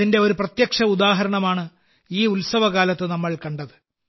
അതിന്റെ ഒരു പ്രത്യക്ഷ ഉദാഹരണമാണ് ഈ ഉത്സവകാലത്ത് നമ്മൾ കണ്ടത്